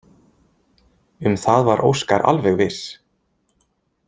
Um það var Óskar alveg viss.